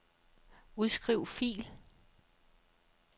Udskriv fil.